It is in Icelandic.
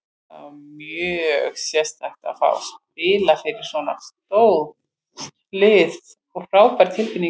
Það var mjög sérstakt að fá að spila fyrir svona stórt lið og frábær tilfinning.